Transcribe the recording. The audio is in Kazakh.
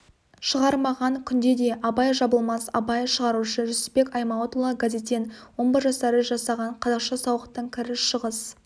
шығармаған күнде де абай жабылмас абай шығарушы жүсіпбек аймауытұлы газеттен омбы жастары жасаған қазақша сауықтың кіріс-шығыс